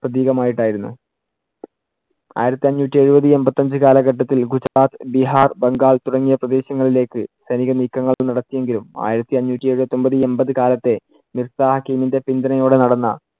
പ്രതീകമായിട്ടായിരുന്നു. ആയിരത്തി അഞ്ഞൂറ്റി എഴുപത് എമ്പത്തിയഞ്ചു കാലഘട്ടത്തിൽ ഗുജറാത്ത്, ബീഹാർ, ബംഗാൾ തുടങ്ങിയ പ്രദേശങ്ങളിലേക്ക് സൈനിക നീക്കങ്ങൾ നടത്തിയെങ്കിലും ആയിരത്തി അഞ്ഞൂറ്റി എഴുപത്തിയൊമ്പത് എമ്പതു കാലത്തേ പിന്തുണയോടെ നടന്ന